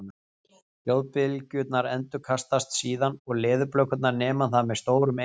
hljóðbylgjurnar endurkastast síðan og leðurblökurnar nema það með stórum eyrum